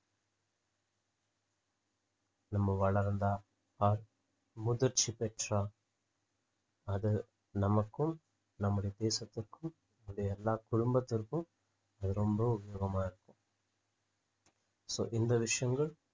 நம்ம வளர்ந்தா or முதிர்ச்சி பெற்றா அது நமக்கும் நம்முடைய தேசத்துக்கும் நம்முடைய எல்லா குடும்பத்திற்கும் அது ரொம்ப உபயோகமா இருக்கும் so இந்த விஷயங்கள்